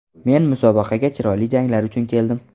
Men musobaqaga chiroyli janglar uchun keldim.